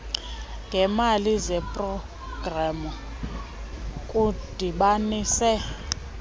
ngeemali zeprogramu kudibanise